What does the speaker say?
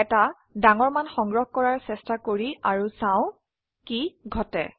এটা ডাঙৰ মান সংগ্ৰহ কৰাৰ চেষ্টা কৰি আৰো চাও কি ঘটে